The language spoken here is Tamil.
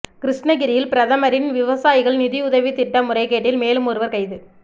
கிருஷ்ணகிரியில் பிரதமரின் விவசாயிகள் நிதியுதவித் திட்ட முறைகேட்டில் மேலும் ஒருவா் கைது